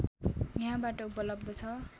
यहाँबाट उपलब्ध छ